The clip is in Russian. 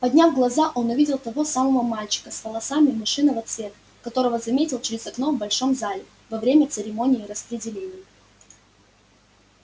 подняв глаза он увидел того самого мальчика с волосами мышиного цвета которого заметил через окно в большом зале во время церемонии распределения